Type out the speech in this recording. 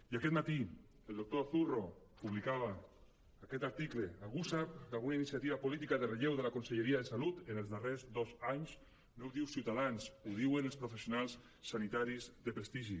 i aquest matí el doctor zurro publicava aquest article algú sap d’alguna iniciativa política de relleu de la conselleria de salut en els darrers dos anys no ho diu ciutadans ho diuen els professionals sanitaris de prestigi